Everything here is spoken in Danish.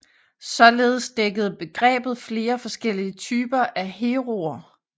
Således dækkede begrebet flere forskellige typer af heroer